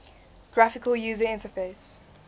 graphical user interface